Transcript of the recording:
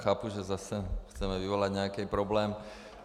Chápu, že zase chceme vyvolat nějaký problém.